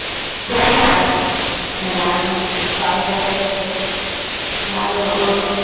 তারপর থেকে